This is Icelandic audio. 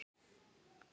Það gilda engar reglur.